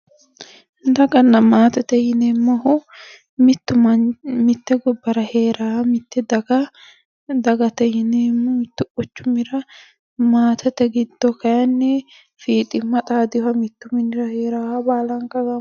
Daganna maatete yineemmohu mittu manni mitte gobbara heeraaha mitte daga dagate yineemmo. Mittu quchumira maatete giddo kayinni fiiximma xaadeyoha mittu minira heeraaha baalanka gamba...